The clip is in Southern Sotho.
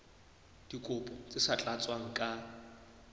dikopo tse sa tlatswang ka